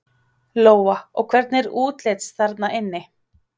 Lóa: Og hvernig er útlits þarna inni?